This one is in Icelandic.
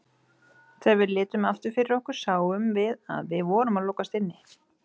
Þegar við litum aftur fyrir okkur sáum við að við vorum að lokast inni.